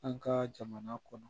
An ka jamana kɔnɔ